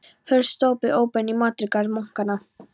Hurð stóð opin út í matjurtagarð munkanna.